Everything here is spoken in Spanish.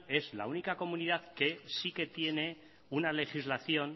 es la única comunidad que sí que tiene una legislación